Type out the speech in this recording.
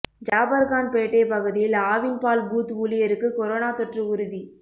ஜாபர்கான்பேட்டை பகுதியில் ஆவின் பால் பூத் ஊழியருக்கு கொரோனா தொற்று உறுதி